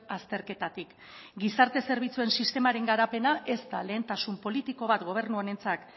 azterketatik gizarte zerbitzuen sistemaren garapena ez da lehentasun politiko bat gobernu honentzat